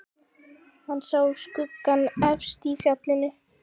Hann sá skuggana efst í fjallinu.